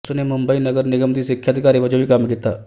ਉਸਨੇ ਮੁੰਬਈ ਨਗਰ ਨਿਗਮ ਦੀ ਸਿੱਖਿਆ ਅਧਿਕਾਰੀ ਵਜੋਂ ਵੀ ਕੰਮ ਕੀਤਾ